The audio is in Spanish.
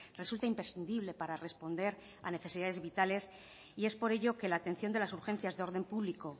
resulta imprescindible para responder a necesidades vitales y es por ello que la atención de las urgencias de orden público